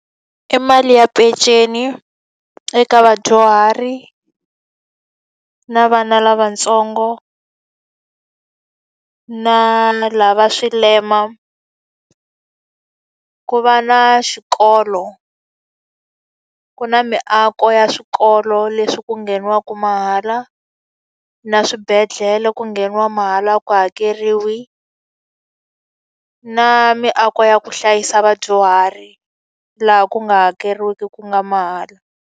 I mali ya peceni eka vadyuhari, na vana lavatsongo, naa na lava va swilema. Ku va na xikolo, ku na miako ya swikolo leswi ku ngheniwaka mahala, na swibedhlele ku ngheniwa mahala a ku hakeriwi. Na miako ya ku hlayisa vadyuhari, laha ku nga hakeriwiki ku nga mahala.